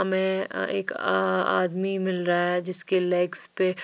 हमें एक आ आदमी मिल रहा है जिसके लेग्स पे--